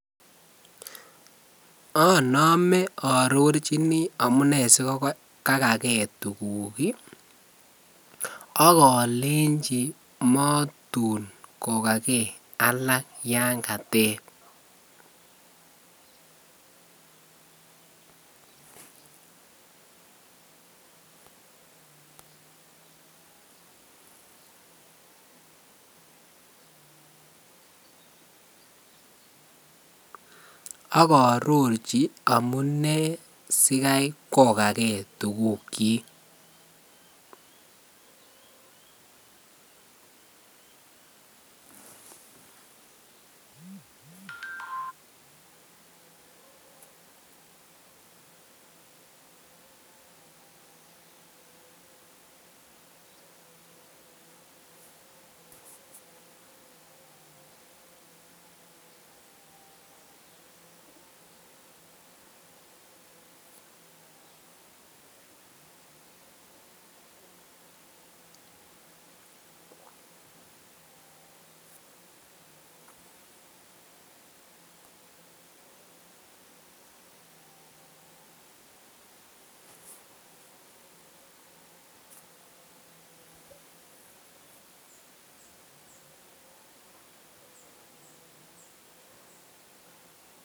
Anome aarorjini amune sikage tuguk ak olenji matun kogaage alak yan koteb,